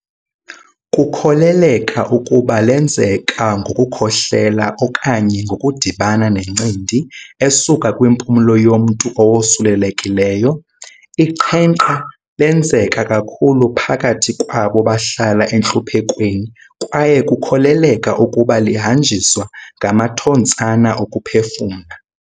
Kukholeleka ukuba lenzeka ngokukhohlela okanye ngokudibana nencindi esuka kwimpumlo yomntu owosulelekileyo. Iqhenqa lenzeka kakhulu phakathi kwabo bahlala entluphekweni kwaye kukholeleka ukuba lihanjiswa ngamathontsana okuphefumla.